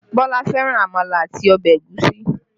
Bọlá fẹ́ràn àmàlà àti ọbẹ̀ ẹ̀gúsí